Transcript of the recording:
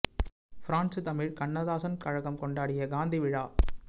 France Tamil Kannadasan கழகம் கொண்டாடிய காந்தி விழா